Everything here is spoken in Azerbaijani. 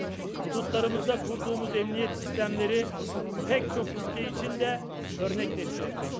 sərhədlərimizdə qurduğumuz təhlükəsizlik sistemləri, bir çox ölkə üçün də nümunə təşkil edir.